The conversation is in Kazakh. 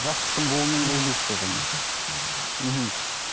жастықтың буымен жүр дейсіз ғой сонда иә жастықтың буымен мхм